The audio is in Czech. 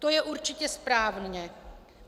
To je určitě správně.